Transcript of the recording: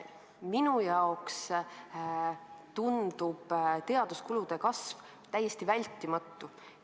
Minule tundub teaduskulude kasv täiesti vältimatu.